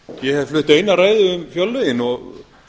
ég hef flutt eina ræðu um fjárlögin og